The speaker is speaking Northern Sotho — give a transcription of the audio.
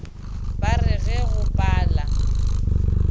ba re ge go pala